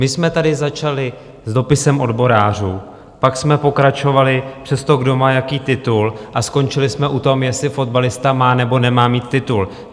My jsme tady začali s dopisem odborářů, pak jsme pokračovali přes to, kdo má jaký titul, a skončili jsme u toho, jestli fotbalista má nebo nemá mít titul.